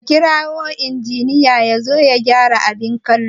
Ka kira injiniya yazo ya gyara abin kallo